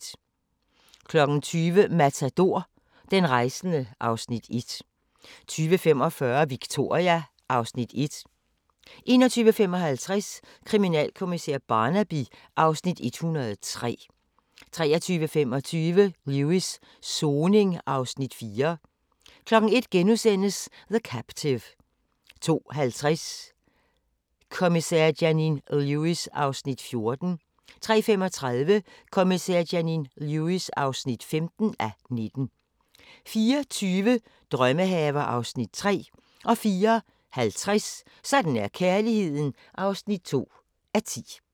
20:00: Matador – Den rejsende (Afs. 1) 20:45: Victoria (Afs. 1) 21:55: Kriminalkommissær Barnaby (Afs. 103) 23:25: Lewis: Soning (Afs. 4) 01:00: The Captive * 02:50: Kommissær Janine Lewis (14:19) 03:35: Kommissær Janine Lewis (15:19) 04:20: Drømmehaver (Afs. 3) 04:50: Sådan er kærligheden (2:10)